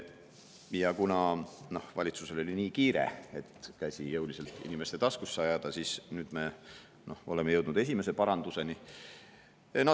Ja kuna valitsusel oli nii kiire, et käsi jõuliselt inimeste taskusse ajada, siis nüüd me oleme jõudnud esimese paranduseni.